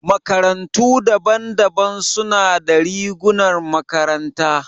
Makarantu daban-daban suna da rigunan makaranta.